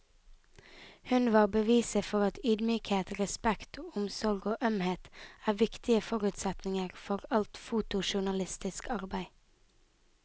Hun var beviset for at ydmykhet, respekt, omsorg og ømhet er viktige forutsetninger for alt fotojournalistisk arbeid.